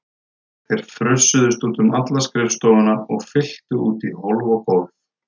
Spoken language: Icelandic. Þeir frussuðust út um alla skrifstofuna og fylltu út í hólf og gólf.